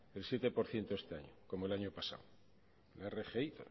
el siete por ciento este año como el año pasado la rgi